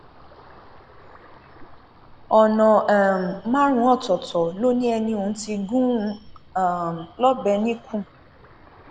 ọnà um márùnún ọtọọtọ ló ní ẹni ọhún ti gún un um lọbẹ níkùn